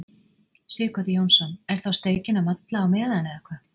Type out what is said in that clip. Sighvatur Jónsson: Er þá steikin að malla á meðan, eða hvað?